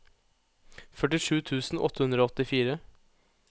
førtisju tusen åtte hundre og åttifire